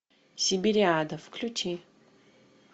сибириада включи